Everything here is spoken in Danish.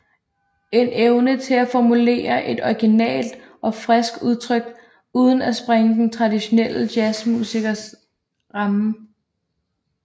En evne til at formulere et originalt og friskt udtryk uden at sprænge den traditionelle jazzmusiks rammer